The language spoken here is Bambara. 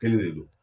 Kelen de don